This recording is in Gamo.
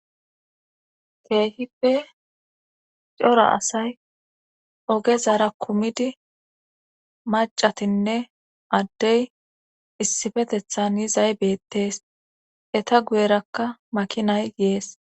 keehippe cora asay oge zara kumidi macatinne addey issifetethan yizay beettees eta guyerakka makinay yees